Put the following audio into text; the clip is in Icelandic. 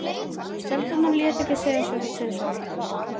Stelpurnar létu ekki segja sér það tvisvar.